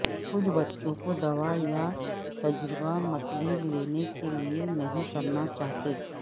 کچھ بچوں کو دوا یا تجربہ متلی لینے کے لئے نہیں کرنا چاہتے